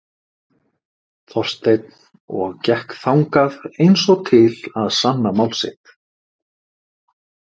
Þorsteinn og gekk þangað eins og til að sanna mál sitt.